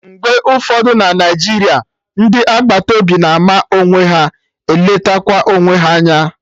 Mgbe ụfọdụ na Naijiria, ndị agbata obi na-ama onwe ha, eletekwa onwe ha anya